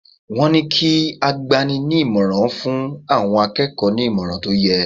Wọ́n ní kí agbani-ní-ìmọ̀ràn fún àwọn akẹ́kọ̀ọ́ ní ìmọ̀ràn tó yẹ.